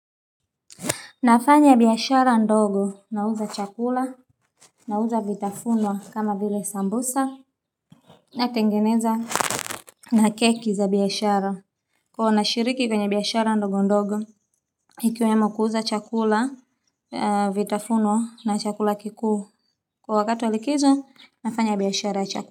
Nafanya biashara ndogo na uza chakula na uza vitafunwa kama vile sambusa natengeneza na keki za biashara kuwa na shiriki kwenye biashara ndogo ndogo ikiwemo kuuza chakula vitafunwa na chakula kikuu kwa wakati wa likizo nafanya biyashara chakula.